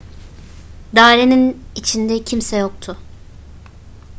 dairenin içinde kimse yoktu